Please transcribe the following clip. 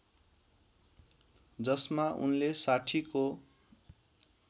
जसमा उनले साठीको